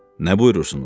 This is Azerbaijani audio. Nə buyurursunuz?